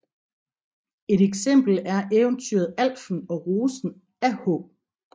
Et eksempel er eventyret Alfen og rosen af H